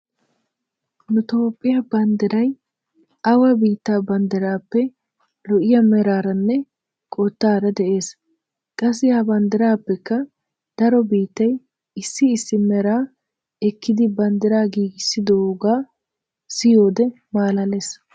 Nu toophphiya banddiray awa biittaa banddiraappe lo'iyaa meraaranne qottaara de'es. Qassi ha banddiraappekka daro biittay issi issi meraa ekkidi banddiraa giigissidoogaa siyiyode malaales.